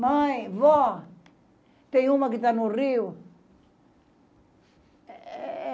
Mãe, vó, tem uma que está no Rio.